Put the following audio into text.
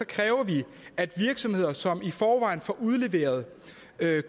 kræver vi at virksomheder som i forvejen får udleveret